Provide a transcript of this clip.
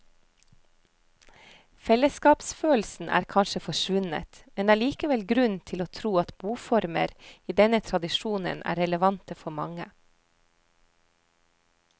Fellesskapsfølelsen er kanskje forsvunnet, men det er likevel grunn til å tro at boformer i denne tradisjonen er relevante for mange.